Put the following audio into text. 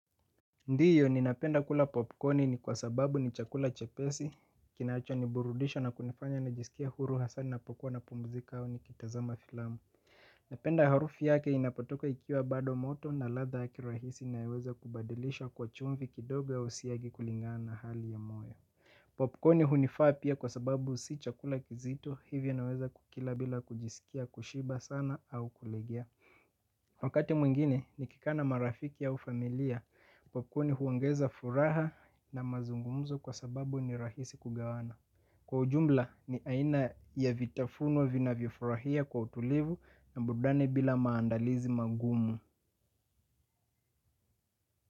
Ndiyo ninapenda kula popconi ni kwa sababu ni chakula chepesi, kinacho niburudisha na kunifanya nijisikie huru hasa ninapokuwa napumzika au nikitazama filamu. Napenda harufu yake inapatoka ikiwa bado moto na ladha yake rahisi inaweza kubadilisha kwa chumvi kidogo au siagi kulingana na hali ya moyo. Popcorni hunifaa pia kwa sababu si chakula kizito hivyo naweza kukila bila kujisikia kushiba sana au kulegea. Wakati mwingine nikikaa na marafiki ya familia kwa kuwa huni huongeza furaha na mazungumzo kwa sababu ni rahisi kugawana. Kwa ujumla ni aina ya vitafunwa vinavifurahia kwa utulivu na burudani bila maandalizi magumu.